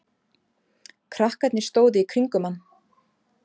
Strákarnir stóðu í kringum hann.